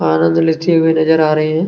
आनंद लेते हुए नजर आ रहे हैं।